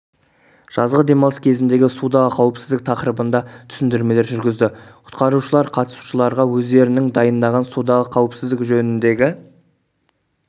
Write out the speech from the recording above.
жазғы демалыс кезіндегі судағы қауіпсіздік тақырыбында түсіндірмелер жүргізді құтқарушылар қатысушыларға өздерінің дайындаған судағы қауіпсіздік жөніндегі